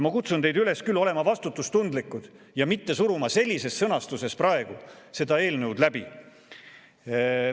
Ma kutsun teid üles olema vastutustundlikud ja mitte suruma sellises sõnastuses seda eelnõu läbi.